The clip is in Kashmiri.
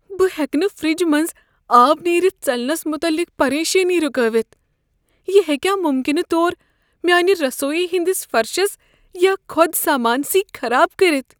بہٕ ہیٚکہٕ نہٕ فرٛج منٛزٕ آب نیرِتھ ژلنس متعلق پریشانی ركٲوِتھ۔ یہ ہیٚكیہ مُمکنہٕ طور میٲنہ رسویی ہنٛدِس فرشس یا خود سامانہٕ سٕے خراب كرِتھ؟